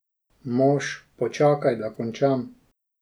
Mož: "Počakaj, da končam.